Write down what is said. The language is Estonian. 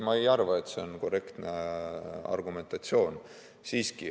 Ma ei arva, et see on korrektne argumentatsioon.